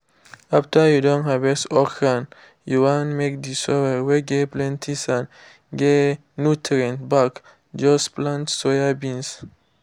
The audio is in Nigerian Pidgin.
after you don harvest okrand you want make the soil whey get plenty sand get nutrients back just plant soyabeans.